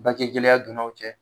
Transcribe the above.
Bangegɛlɛya donna u cɛ